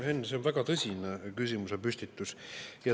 Henn, see on väga tõsine küsimusepüstitus.